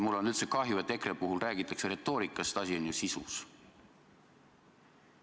Mul on üldse kahju, et EKRE puhul räägitakse retoorikast, asi on ju sisus.